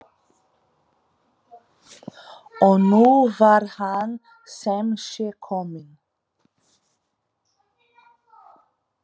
Og nú var hann sem sé kominn!